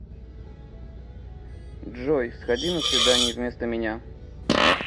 джой сходи на свидание вместо меня